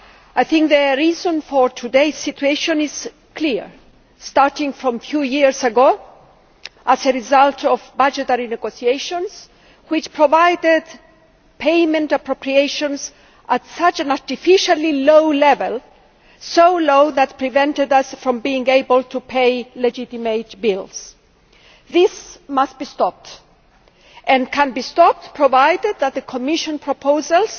I think the reason for today's situation is clear starting from a few years ago, it is a result of budgetary negotiations which provided payment appropriations at such an artificially low level, so low that it prevented us from being able to pay legitimate bills. This must be stopped and it can be stopped, provided that the Commission proposals